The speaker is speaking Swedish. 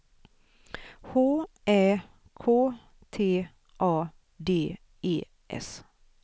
H Ä K T A D E S